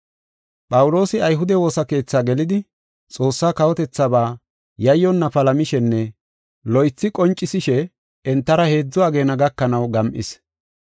Phawuloosi ayhude woosa keethi gelidi, Xoossa kawotethaaba yayyonna palamishenne loythi qoncisishe entara heedzu ageena gakanaw gam7is.